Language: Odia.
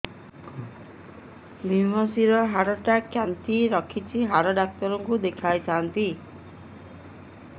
ଵ୍ରମଶିର ହାଡ଼ ଟା ଖାନ୍ଚି ରଖିଛି ହାଡ଼ ଡାକ୍ତର କୁ ଦେଖିଥାନ୍ତି